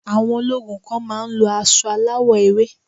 Àwọn ológun kan má a ń lo asọ aláwọ̀ ewé